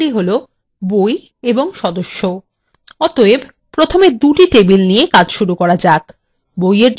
অতএব প্রথমে দুটি টেবিল নিয়ে কাজ শুরু করা যাক বই এর জন্য একটি এবং সদস্যদের জন্য একটি